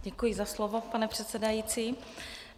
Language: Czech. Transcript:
Děkuji za slovo, pane předsedající.